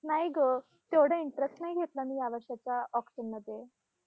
आणि ऑक्टोबर दोनहजार बावीस ला selection झालं आणि तेव्हापासून आतापर्यंत मी इथे